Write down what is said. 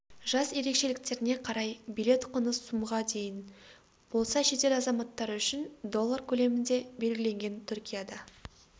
жас ерекшеліктеріне қарай билет құны сумға дейін болса шетел азаматтары үшін доллар көлемінде белгіленген түркияда